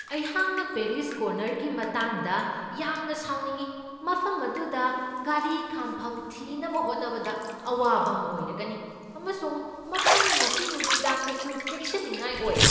ꯑꯩꯍꯥꯛꯅ ꯄꯦꯔꯤꯁ ꯀꯣꯔꯅꯔꯒꯤ ꯃꯇꯥꯡꯗ ꯌꯥꯝꯅ ꯁꯥꯎꯅꯤꯡꯢ ꯫ ꯃꯐꯝ ꯑꯗꯨꯗ ꯒꯥꯔꯤ ꯈꯥꯝꯐꯝ ꯊꯤꯅꯕ ꯍꯣꯠꯅꯕꯗ ꯑꯋꯥꯕ ꯑꯃ ꯑꯣꯏꯔꯒꯅꯤ, ꯑꯃꯁꯨꯡ ꯃꯐꯝ ꯑꯁꯤ ꯅꯨꯃꯤꯗꯥꯡꯗꯁꯨ ꯆꯦꯛꯁꯤꯟꯅꯤꯡꯉꯥꯏ ꯑꯣꯏ ꯫